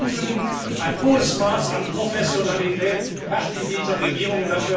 Ich will hinzufügen Ein hohes Maß an Professionalität herrscht in dieser Regierung.